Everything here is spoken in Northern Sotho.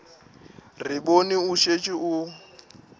re bone o šetše o